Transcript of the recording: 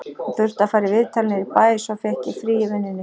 Hún þurfti að fara í viðtal niður í bæ, svo ég fékk frí í vinnunni